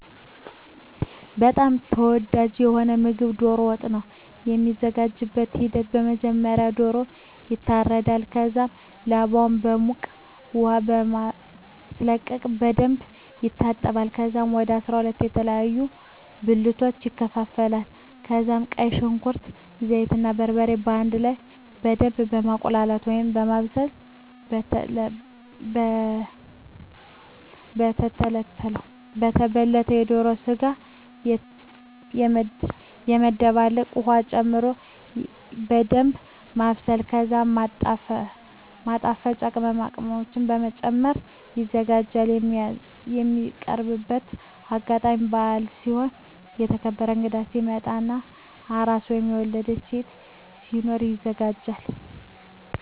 በጣም ተወዳጂ የሆነዉ ምግብ ዶሮ ወጥ ነዉ። የሚዘጋጅበትም ሂደት በመጀመሪያ ዶሮዉ ይታረዳል ከዛም ላባዉን በዉቅ ዉሃ በማስለቀቅ በደንብ ይታጠባል ከዛም ወደ 12 የተለያዩ ብልቶች ይከፋፈላል ከዛም ቀይ ሽንኩርት፣ ዘይት እና በርበሬ በአንድ ላይ በደምብ በማቁላላት(በማብሰል) የተበለተዉን የዶሮ ስጋ በመደባለቅ ዉሀ ጨምሮ በደንምብ ማብሰል ከዛም ማጣፈጫ ቅመሞችን በመጨመር ይዘጋጃል። የሚቀርብበትም አጋጣሚ በአል ሲሆን፣ የተከበረ እንግዳ ሲመጣ እና አራስ (የወለደች ሴት) ሲኖር ይዘጋጃል።